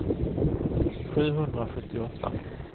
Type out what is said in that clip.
sjuhundrasjuttioåtta